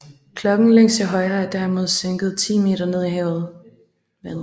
Klokken længst til højre er derimod sænket 10 meter ned i vandet